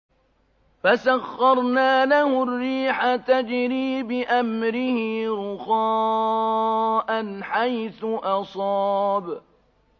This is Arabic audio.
فَسَخَّرْنَا لَهُ الرِّيحَ تَجْرِي بِأَمْرِهِ رُخَاءً حَيْثُ أَصَابَ